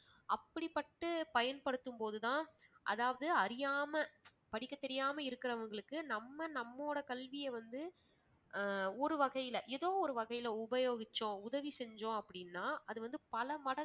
அப்படிப்பட்டு பயன்படுத்தும்போது தான் அதாவது அறியாம படிக்கத் தெரியாம இருக்கிறவங்களுக்கு நம்ம நம்மோட கல்விய வந்து ஆஹ் ஒரு வகையில ஏதோ ஒரு வகையில உபயோகிச்சோம் உதவி செஞ்சோம் அப்படின்னா அது வந்து பல மடங்கு